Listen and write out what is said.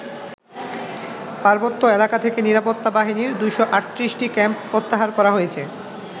পার্বত্য এলাকা থেকে নিরাপত্তা বাহিনীর ২৩৮টি ক্যাম্প প্রত্যাহার করা হয়েছে।